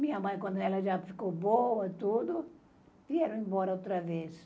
Minha mãe, quando ela já ficou boa e tudo, vieram embora outra vez.